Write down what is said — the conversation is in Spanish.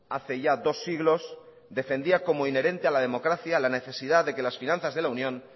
hace ya dos siglos defendía como inherente a la democracia la necesidad de que las finanzas de la unión